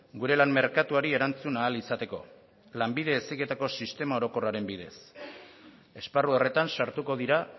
gure lan merkatuari erantzun ahal izateko lanbide heziketako sistema orokorraren bidez esparru horretan sartuko dira